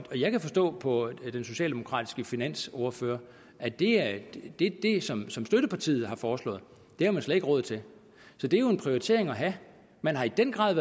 og jeg kan forstå på den socialdemokratiske finansordfører at det at det som som støttepartiet har foreslået har man slet ikke råd til så det er jo en prioritering at have man har i den grad